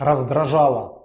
раздражала